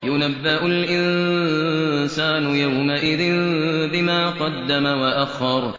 يُنَبَّأُ الْإِنسَانُ يَوْمَئِذٍ بِمَا قَدَّمَ وَأَخَّرَ